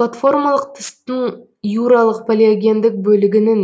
платформалық тыстың юралық палеогендік бөлігінің